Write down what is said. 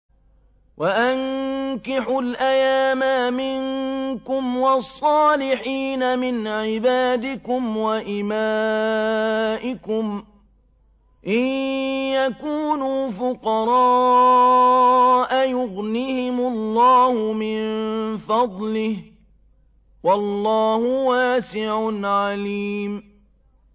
وَأَنكِحُوا الْأَيَامَىٰ مِنكُمْ وَالصَّالِحِينَ مِنْ عِبَادِكُمْ وَإِمَائِكُمْ ۚ إِن يَكُونُوا فُقَرَاءَ يُغْنِهِمُ اللَّهُ مِن فَضْلِهِ ۗ وَاللَّهُ وَاسِعٌ عَلِيمٌ